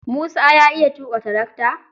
Musa ya iya tuƙa tarakata?